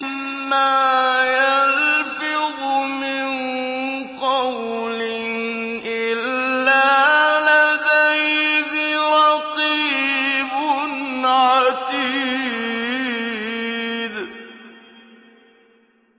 مَّا يَلْفِظُ مِن قَوْلٍ إِلَّا لَدَيْهِ رَقِيبٌ عَتِيدٌ